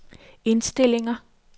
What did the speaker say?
indstillinger